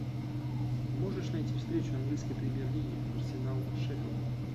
можешь найти встречу английской премьер лиги арсенал шеффилд